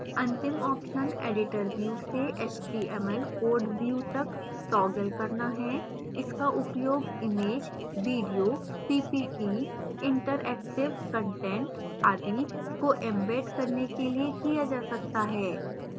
अंतिम option editor view से html code view तक toggle करना है इसका उपयोग images video PPT interactive content आदि को embed करने के लिए किया जा सकता है